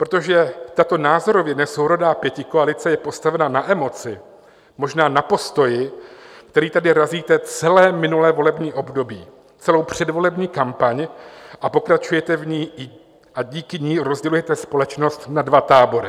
Protože tato názorově nesourodá pětikoalice je postavena na emoci, možná na postoji, který tady razíte celé minulé volební období, celou předvolební kampaň, a pokračujete v ní a díky ní rozdělujete společnost na dva tábory.